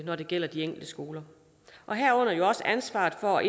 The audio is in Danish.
når det gælder de enkelte skoler herunder ansvaret for at